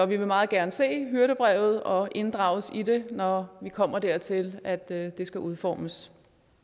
vil meget gerne se hyrdebrevet og inddrages i det når det kommer dertil at det det skal udformes